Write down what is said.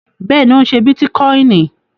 Bẹ́ẹ̀ni, ó ń ṣé bítíkọìnì